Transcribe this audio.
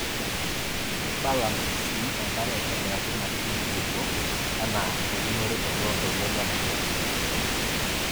Keibalans siienkare aaitobiraki naatii nkulupuok anaa eunore toloontoluo le Nigeria.